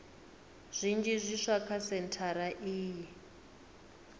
zwinzhi zwiswa kha sentshari iyi